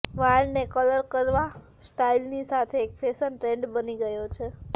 વાળને કલર કરવા સ્ટાઇલની સાથે એક ફેશન ટ્રેન્ડ બની ગયો છે